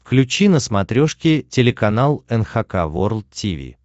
включи на смотрешке телеканал эн эйч кей волд ти ви